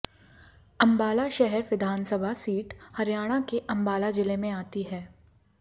अंबाला शहर विधानसभा सीट हरियाणाके अंबाला जिले में आती है